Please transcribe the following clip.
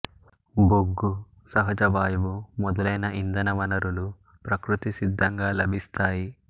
బొగ్గు సహజ వాయువు మొదలైన ఇంధన వనరులు ప్రకృతి సిద్ధంగా లభిస్తాయి